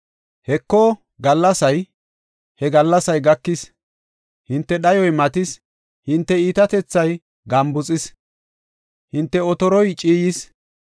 “Heko, gallasay! He gallasay gakis! Hinte dhayoy matis! Hinte iitatethay gambuxis; hinte otoroy ciiyis.